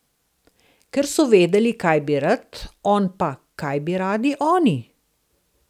Ker so vedeli, kaj bi rad, on pa, kaj bi radi oni?